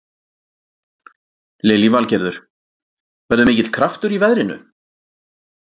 Lillý Valgerður: Verður mikill kraftur í veðrinu?